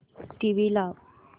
TV लाव